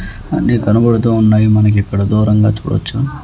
అన్ని కనబడుతూ ఉన్నాయి మనకిక్కడ దూరంగా చూడచ్చు.